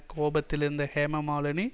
கோபத்தில் இருந்த ஹேம மாலினி